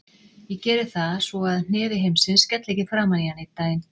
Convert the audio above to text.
Ég geri það svo að hnefi heimsins skelli ekki framan í hann einn daginn.